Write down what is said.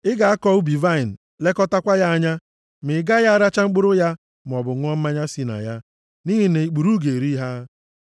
Ị ga-akọ ubi vaịnị lekọtakwa ya anya, ma ị gaghị aracha mkpụrụ ya maọbụ ṅụọ mmanya si na ya, nʼihi na ikpuru ga-eri ha.